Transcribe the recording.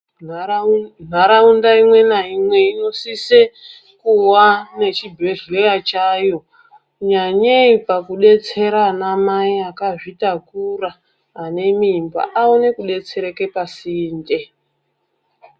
Nharaunda imwe naimwe inosise kuwa nechibhedhlera chayo, nyanyei pakudetsera ana mai akazvitakura ane mimba aone kudetsereka pasinde.